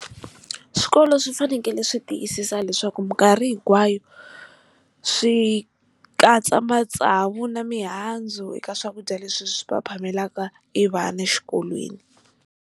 Swikolo swi fanele swi tiyisisa leswaku mikarhi hinkwayo swi katsa matsavu na mihandzu eka swakudya leswi swi va phamelaka i vana xikolweni.